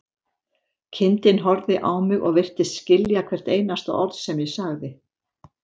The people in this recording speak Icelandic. Kindin horfði á mig og virtist skilja hvert einasta orð sem ég sagði.